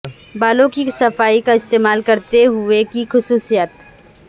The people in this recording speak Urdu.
بالوں کی صفائی کا استعمال کرتے ہوئے کی خصوصیات